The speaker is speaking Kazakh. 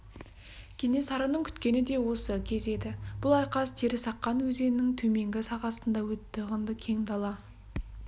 кенесарының күткені де осы кез еді бұл айқас терісаққан өзенінің төменгі сағасында өтті ғынды кең дала